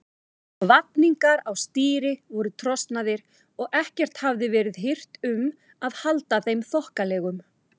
Vafningar á stýri voru trosnaðir og ekkert hafði verið hirt um að halda þeim þokkalegum.